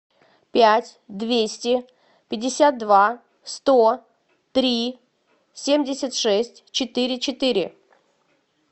пять двести пятьдесят два сто три семьдесят шесть четыре четыре